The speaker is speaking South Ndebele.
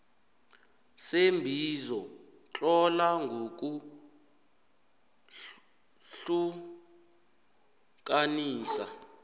seembizo tlola ngokuhlukanisa